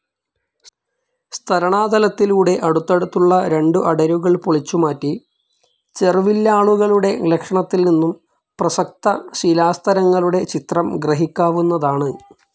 സ്ഥരണാതലത്തിലൂടെ അടുത്തടുത്തുള്ള രണ്ടു അടരുകൾ പൊളിച്ചുമാറ്റി, ചെർവില്ലാളുകളുടെ ലക്ഷണത്തിൽനിന്നും പ്രസക്ത ശിലാസ്തരങ്ങളുടെ ചരിത്രം ഗ്രഹിക്കാവുന്നതാണ്.